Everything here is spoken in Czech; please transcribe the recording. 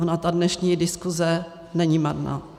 Ona ta dnešní diskuse není marná.